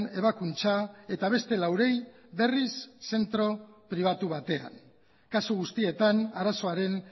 ebakuntza eta beste laurei berriz zentro pribatu batean kasu guztietan arazoaren